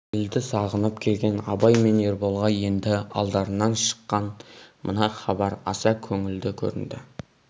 елді сағынып келген абай мен ерболға енді алдарынан шыққан мына хабар аса көңілді көрінді